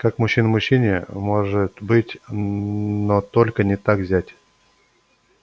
как мужчина мужчине может быть но только не так зять